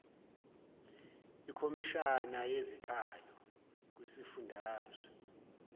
ikhomishana yezikhalo kwisifundazwe